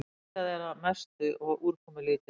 Skýjað að mestu og úrkomulítið